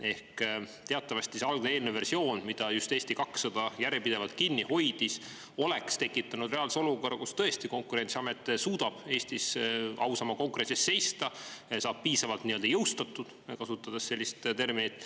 Ehk teatavasti see algne eelnõu versioon, mida just Eesti 200 järjepidevalt kinni hoidis, oleks tekitanud reaalse olukorra, kus tõesti Konkurentsiamet suudab Eestis ausama konkurentsi eest seista, saab piisavalt jõustatud, kasutades sellist terminit.